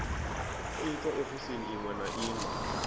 itwa ofisini iṅwe na iṅwe